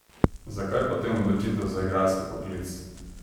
Zakaj potem odločitev za igralski poklic?